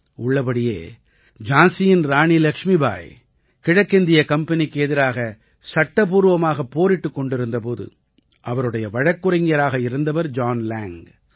உள்ளபடியே ஜான்சியின் ராணி லக்ஷ்மிபாய் கிழக்கிந்தியக் கம்பெனிக்கு எதிராக சட்டபூர்வமாகப் போரிட்டுக் கொண்டிருந்த போது அவருடைய வழக்குரைஞராக இருந்தவர் ஜான் லேங்க்